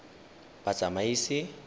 batsamaisi